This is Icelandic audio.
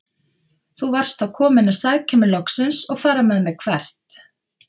Þú varst þá kominn að sækja mig loksins og fara með mig- hvert?